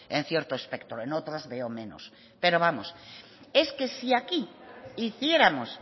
en cierto espectro en otros veo menos pero vamos si es que aquí hiciéramos